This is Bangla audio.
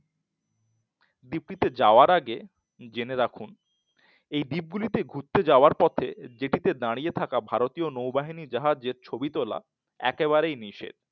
দীপ্তিতে যাওয়ার আগে জেনে রাখুন দ্বীপ গুলিতে ঘুরতে যাওয়ার পথে দাঁড়িয়ে থাকা ভারতীয় নৌ বাহিনী জাহাজের ছবি তোলা একেবারেই নিষেধ।